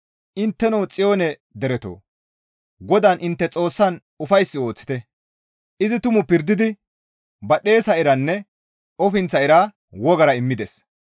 Intteno Xiyoone deretoo, GODAAN intte Xoossan ufayssi ooththite; izi tumu pirdidi badhdhesa iranne ofinththa ira wogara immides.